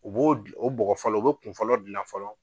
U b'o de o bɔgɔ fɔlɔ u be kunfɔlɔ gilan fɔlɔ.